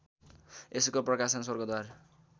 यसको प्रकाशन स्वर्गद्वार